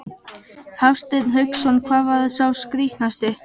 Hafsteinn Hauksson: Hvar var sá skrítnasti?